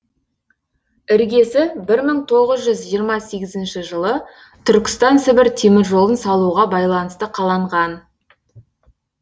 іргесі бір мың тоғыз жүз жиырма сегізінші жылы түркістан сібір теміржолын салуға байланысты қаланған